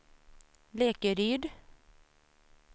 Lekeryd